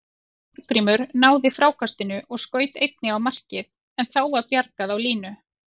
Jón Þorgrímur náði frákastinu og skaut einnig á markið en þá var bjargað á línu.